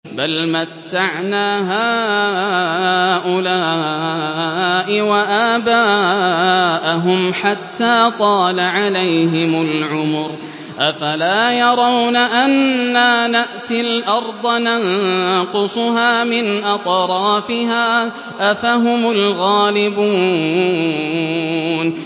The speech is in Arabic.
بَلْ مَتَّعْنَا هَٰؤُلَاءِ وَآبَاءَهُمْ حَتَّىٰ طَالَ عَلَيْهِمُ الْعُمُرُ ۗ أَفَلَا يَرَوْنَ أَنَّا نَأْتِي الْأَرْضَ نَنقُصُهَا مِنْ أَطْرَافِهَا ۚ أَفَهُمُ الْغَالِبُونَ